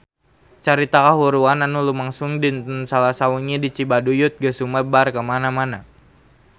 Carita kahuruan anu lumangsung dinten Salasa wengi di Cibaduyut geus sumebar kamana-mana